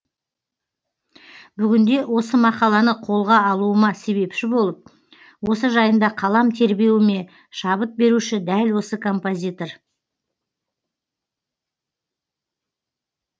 бүгінде осы мақаланы қолға алуыма себепші болып осы жайында қалам тербеуіме шабыт беруші дәл осы композитор